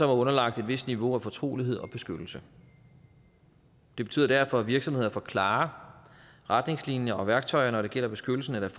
er underlagt et vist niveau af fortrolighed og beskyttelse det betyder derfor at virksomheder får klarere retningslinjer og værktøjer når det gælder beskyttelsen af